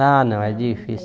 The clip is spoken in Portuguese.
Ah, não, é difícil.